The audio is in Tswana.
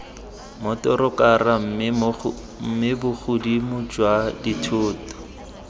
motorokara mme bogodimo jwa dithoto